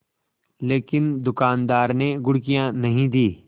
लेकिन दुकानदार ने घुड़कियाँ नहीं दीं